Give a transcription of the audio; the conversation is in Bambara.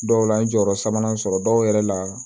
Dɔw la n ye jɔyɔrɔ sabanan sɔrɔ dɔw yɛrɛ la